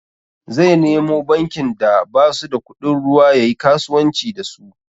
Zai nemo bankin da basu da kudin ruwa yayi kasuwanci da su.